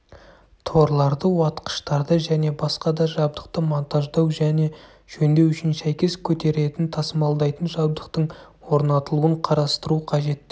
торларды уатқыштарды және басқа да жабдықты монтаждау және жөндеу үшін сәйкес көтеретін-тасымалдайтын жабдықтың орнатылуын қарастыру қажет